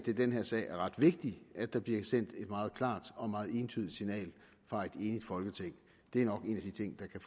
i den her sag er ret vigtigt at der bliver sendt et meget klart og meget entydigt signal fra et enigt folketing det er nok en af de ting der kan